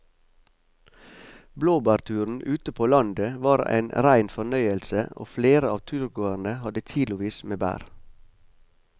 Blåbærturen ute på landet var en rein fornøyelse og flere av turgåerene hadde kilosvis med bær.